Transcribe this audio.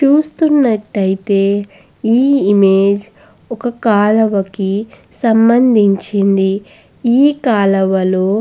చూస్తునట్టుయితే ఈ ఇమేజ్ ఒక కాలవ కి సంబంధించింది ఈ కాలవలో--